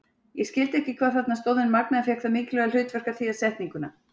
Ég skildi ekki hvað þarna stóð en Magnea fékk það mikilvæga hlutverk að þýða setninguna.